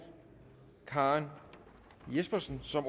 karen jespersen som